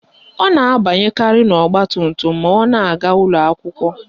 Ọ na-abanyekarị ọgbatumtum ma ọ na-aga ụlọakwụkwọ